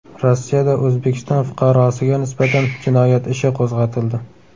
Rossiyada O‘zbekiston fuqarosiga nisbatan jinoyat ishi qo‘zg‘atildi.